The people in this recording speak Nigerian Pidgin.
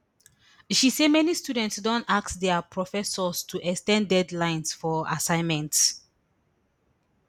she say many students don ask dia professors to ex ten d deadlines for assignments